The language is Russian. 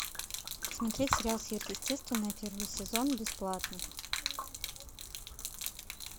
смотреть сериал сверхъестественное первый сезон бесплатно